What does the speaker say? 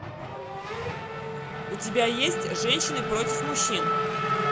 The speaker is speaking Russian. у тебя есть женщины против мужчин